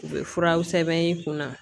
U bɛ furaw sɛbɛn i kunna